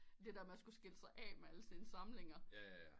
Det der med at skulle skille sig af med alle ens samlinger